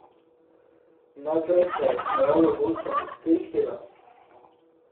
Najprej se je smejalo gostom iz Krškega.